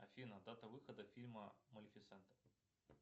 афина дата выхода фильма малефисента